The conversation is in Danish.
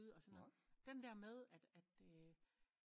Og sådan noget den der med at at